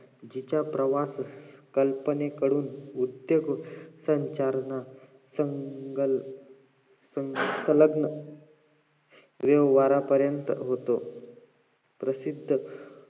जिचा प्रवास कल्पेनेकडून उद्योग संचरण संलग्न संलग्न येऊन निवारा पर्यंत होतो प्रसिद्ध